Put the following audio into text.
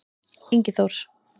Ingi Þór-